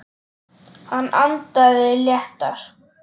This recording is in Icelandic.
Hann andaði léttar.